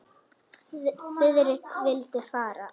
Friðrik vildi fara.